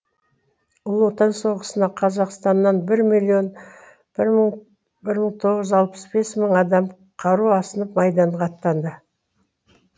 ұлы отан соғысына қазақстаннан бір миллион бір мың тоғыз жүз алпыс бес мың адам қару асынып майданға атанды